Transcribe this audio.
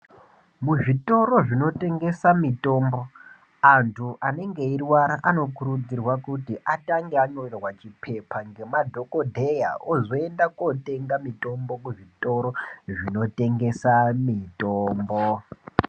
Muzvitoro zvinotengesa mitombo ,antu anenge eirwara anokurudzirwa kuti atange anyorerwa chiphepha ngemadhokodheya, ozoenda kootenga mutombo kuzvitoro zvinotengesa mitombo .